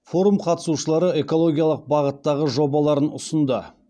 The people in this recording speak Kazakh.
форум қатысушылары экологиялық бағыттағы жобаларын ұсынды